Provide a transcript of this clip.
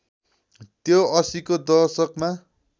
त्यो ८०को दशकमा